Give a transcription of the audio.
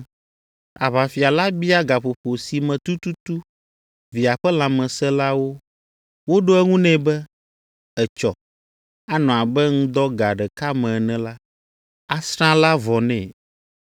Aʋafia la bia gaƒoƒo si me tututu via ƒe lãme sẽ la wo. Woɖo eŋu nɛ be, “Etsɔ, anɔ abe ŋdɔ ga ɖeka me ene la, asrã la vɔ nɛ.”